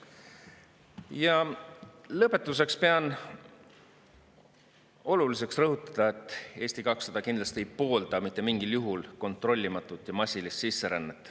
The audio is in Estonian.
Ja lõpetuseks pean oluliseks rõhutada, et Eesti 200 kindlasti ei poolda mitte mingil juhul kontrollimatut ja massilist sisserännet.